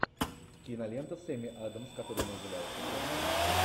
кинолента с эми адамс которая называется черновик